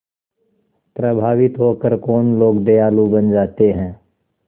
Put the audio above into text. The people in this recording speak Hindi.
प्रभावित होकर कौन लोग दयालु बन जाते हैं